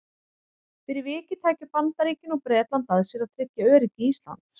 Fyrir vikið tækju Bandaríkin og Bretland að sér að tryggja öryggi Íslands.